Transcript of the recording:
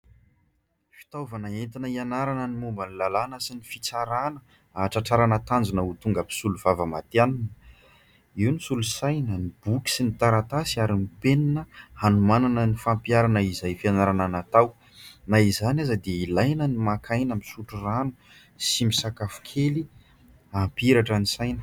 Fitaovana entina hianarana ny momba ny lalàna sy ny fitsarana hahatratrarana tanjona ho tonga mpisolovava maty hanina. Io ny solo-saina ny boky sy ny taratasy ary ny penina hanomanana ny fampiarana izay fianarana natao. Na izany aza dia ilaina ny maka aina, misotro rano sy misakafo kely hampihiratra ny saina.